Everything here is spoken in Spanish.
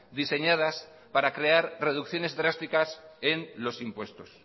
diseñadas para crear reducciones drásticas en los impuestos